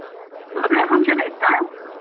ಮದ್ವೆ function ಯೆ ಇತ್ತ?